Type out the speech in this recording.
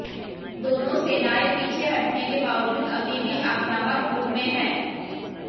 दोनों सेनाएं पीछे हटने के बावजूद अभी भी आक्रामक मूड में हैं